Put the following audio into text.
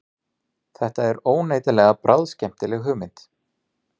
Þetta er óneitanlega bráðskemmtileg hugmynd